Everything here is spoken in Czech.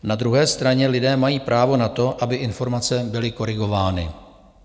Na druhé straně lidé mají právo na to, aby informace byly korigovány.